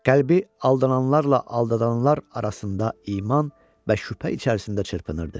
Qəlbi aldananlarla aldadılanlar arasında iman və şübhə içərisində çırpınırdı.